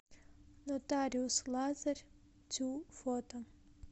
нотариус лазарь тю фото